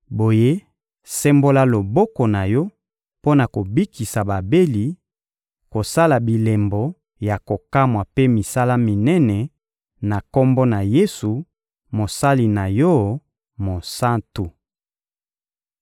Boye, sembola loboko na Yo mpo na kobikisa babeli, kosala bilembo ya kokamwa mpe misala minene, na Kombo na Yesu, Mosali na Yo, Mosantu.